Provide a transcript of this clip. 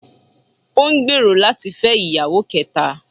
Ó n gbèèrò láti fẹ́ ìyàwó kẹta